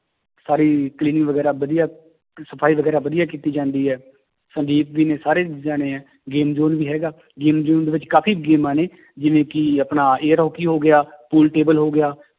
ਸਾਰੀ cleaning ਵਗ਼ੈਰਾ ਵਧੀਆ ਸਫ਼ਾਈ ਵਗ਼ੈਰਾ ਵਧੀਆ ਕੀਤੀ ਜਾਂਦੀ ਹੈ ਸਾਰੇ game zone ਵੀ ਹੈਗਾ game zone ਦੇ ਵਿੱਚ ਕਾਫ਼ੀ ਗੇਮਾਂ ਨੇ ਜਿਵੇਂ ਕਿ ਆਪਣਾ air ਹਾਕੀ ਹੋ ਗਿਆ pool table ਹੋ ਗਿਆ